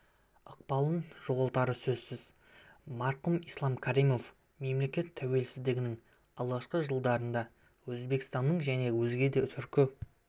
ықпалын жоғалтары сөзсіз марқұм ислам каримов мемлекет тәуелсіздігінің алғашқы жылдарында өзбекстанның және өзге де түркі